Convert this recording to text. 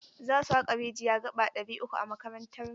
Za su haƙa rijiya gaba ɗari uku a makarantarmu.